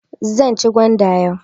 Zan ci gwanda yau.